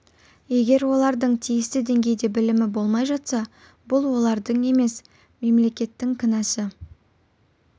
егер олардың тиісті деңгейде білімі болмай жатса бұл олардың емес мемлекеттің кінәсі